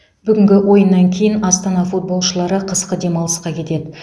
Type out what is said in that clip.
бүгінгі ойыннан кейін астана футболшылары қысқы демалысқа кетеді